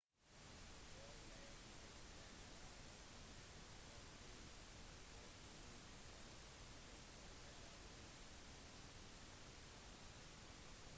all blacks hadde allerede vunnet troféen for to uker siden og dette var deres siste kamp